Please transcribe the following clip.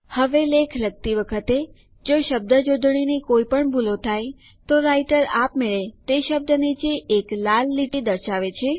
હવે લેખ લખતી વખતે જો શબ્દજોડણીની કોઈ પણ ભૂલો થાય તો રાઈટર આપમેળે તે શબ્દ નીચે એક લાલ લીટી દ્વારા દર્શાવે છે